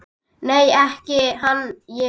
Nei, ekki hann ég.